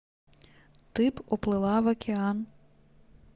ты б уплыла в океан